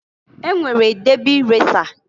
E nwere debi resa.